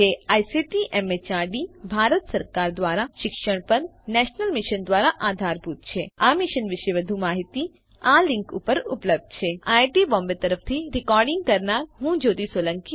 જે ICT MHRD Bharat સરકાર દ્વારા શિક્ષણ પર નેશનલ મિશન દ્વારા આધારભૂત છે આ મિશન વિશે વધુ માહીતી આ લીંક ઉપર ઉપલબ્ધ છે httpspoken tutorialorgNMEICT Intro IIT Bombay તરફથી ભાષાંતર કરનાર હું કૃપાલી પરમાર વિદાય લઉં છું